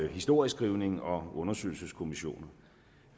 historieskrivning og undersøgelseskommissioner